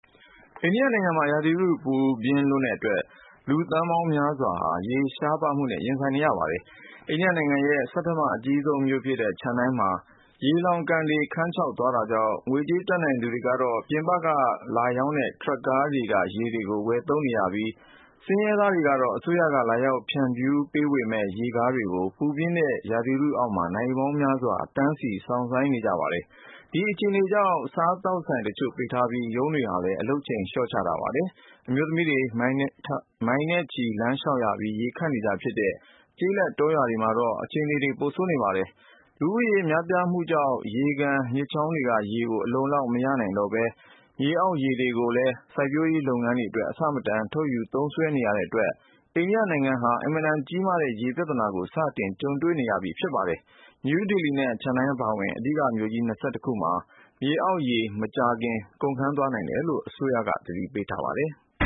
အိန္ဒိယနိုင်ငံမှာ ရာသီဥတု ပူပြင်းလွန်းတဲ့အတွက် လူသန်းပေါင်းများစွာဟာ ရေရှားပါးမှုနဲ့ ရင်ဆိုင်နေရပါတယ်။ အိန္ဒိယနိုင်ငံရဲ့ ဆဌမ အကြီးဆုံးမြို့ဖြစ်တဲ့ Chennai မှာ ရေလှောင်ကန်တွေ ခမ်းခြောက်သွားတာကြောင့် ငွေကြေးတတ်နိုင်သူတွေက ပြင်ပက ထရပ်ကားတွေနဲ့ လာရောက် ရောင်းချတဲ့ ရေတွေကို ဝယ်ယူသုံးစွဲနေရပြီး ဆင်းရဲသားတွေကတော့ အစိုးရက လာရောက်ဖြန့်ဝေတဲ့ ရေကားတွေကို ပူပြင်းတဲ့ ရာသီဥတုအောက်မှာ နာရီပေါင်းများစွာ တန်းစီစောင့်ဆိုင်းနေကြပါတယ်။ ဒီအခြေအနေကြောင့် စားသောက်ဆိုင်တချို့ ပိတ်ထားပြီး ရုံးတွေဟာလည်း အလုပ်ချိန် လျော့ထားကြပါတယ်။ အမျိုးသမီးတွေ မိုင်နဲ့ချီ လမ်းလျှောက်ပြီး ရေခပ်နေကျဖြစ်တဲ့ ကျေးလက်တောရွာတွေမှာတော့ အခြေအနေတွေ ပိုဆိုးနေပါတယ်။ လူဦးရေ များပြားလာမှုကြောင့် ရေကန် မြစ်ချောင်းတွေက ရေကို အလုံအလောက် မရနိုင်တော့သလို မြေအောက်ရေတွေကိုလည်း စိုက်ပျုးိရေး လုပ်ငန်းတွေအတွက် အဆမတန် ထုတ်ယူ သုံးစွဲနေရတဲ့အတွက် အိန္ဒိယနိုင်ငံဟာ အင်မတန်ကြီးမားတဲ့ ရေပြဿနာနဲ့ စတင်ကြုံတွေ့နေရပြီ ဖြစ်ပါတယ်။ နယူးဒေလီ နဲ့ Chennai အပါဝင် အဓိကမြို့ကြီး ၂၁ ခုမှာ မြေအောက်ရေ မကြာခင် ကုန်ခမ်းသွားနိုင်တယ်လို့ အစိုးရက သတိပေးထားပါတယ်။